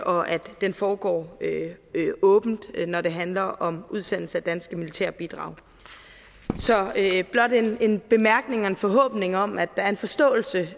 og at den foregår åbent når det handler om udsendelse af danske militære bidrag så det er blot en bemærkning og en forhåbning om at der er en forståelse